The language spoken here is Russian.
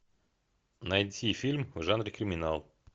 найти фильм в жанре криминал